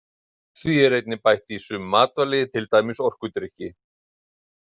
Því er einnig bætt í sum matvæli til dæmis orkudrykki.